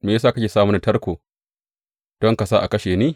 Me ya sa kake sa mini tarko, don ka sa a kashe ni?